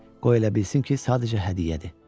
Qoy elə bilsin ki, sadəcə hədiyyədir.